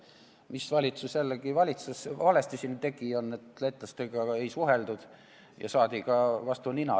Meie valitsus tegi valesti ka seda, et lätlastega ei suheldud ja saadi nii vastu nina.